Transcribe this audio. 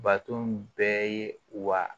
Baton bɛɛ ye wa